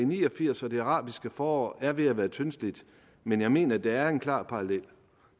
ni og firs og det arabiske forår er ved at være tyndslidt men jeg mener der er en klar parallel